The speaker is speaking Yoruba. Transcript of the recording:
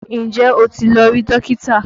Ǹjẹ́ o ti lọ rí Dókítà?